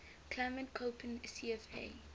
climate koppen cfa